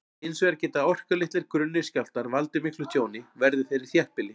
Hins vegar geta orkulitlir, grunnir skjálftar valdið miklu tjóni, verði þeir í þéttbýli.